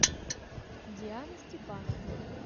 диана степановна